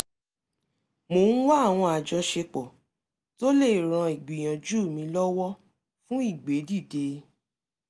mò ń wá àwọn àjọṣepọ̀ tó lè ran ìgbìyànjú mi lọwọ fun ìgbédìde